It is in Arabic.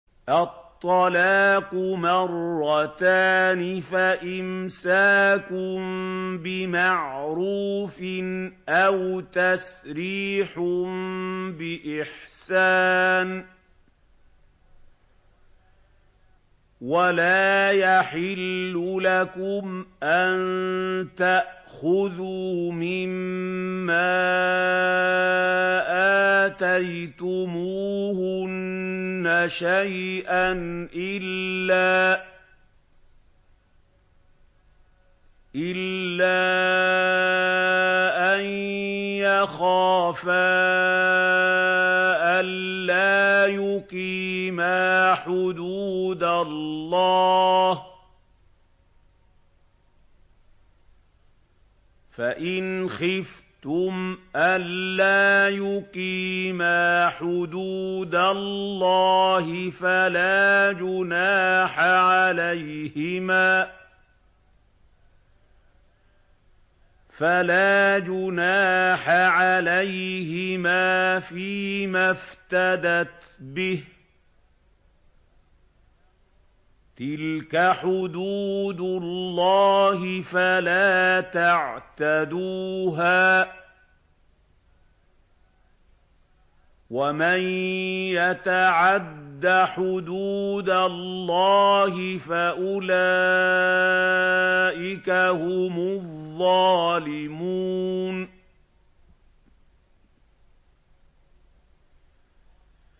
الطَّلَاقُ مَرَّتَانِ ۖ فَإِمْسَاكٌ بِمَعْرُوفٍ أَوْ تَسْرِيحٌ بِإِحْسَانٍ ۗ وَلَا يَحِلُّ لَكُمْ أَن تَأْخُذُوا مِمَّا آتَيْتُمُوهُنَّ شَيْئًا إِلَّا أَن يَخَافَا أَلَّا يُقِيمَا حُدُودَ اللَّهِ ۖ فَإِنْ خِفْتُمْ أَلَّا يُقِيمَا حُدُودَ اللَّهِ فَلَا جُنَاحَ عَلَيْهِمَا فِيمَا افْتَدَتْ بِهِ ۗ تِلْكَ حُدُودُ اللَّهِ فَلَا تَعْتَدُوهَا ۚ وَمَن يَتَعَدَّ حُدُودَ اللَّهِ فَأُولَٰئِكَ هُمُ الظَّالِمُونَ